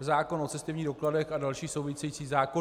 zákon o cestovních dokladech a další související zákony.